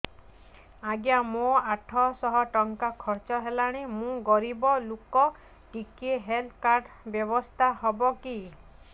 ଆଜ୍ଞା ମୋ ଆଠ ସହ ଟଙ୍କା ଖର୍ଚ୍ଚ ହେଲାଣି ମୁଁ ଗରିବ ଲୁକ ଟିକେ ହେଲ୍ଥ କାର୍ଡ ବ୍ୟବସ୍ଥା ହବ କି